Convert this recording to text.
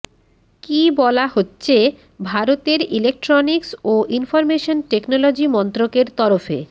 কি বলা হচ্ছে ভারতের ইলেকট্রনিক্স ও ইনফরমেশন টেকনোলজি মন্ত্রকের তরফে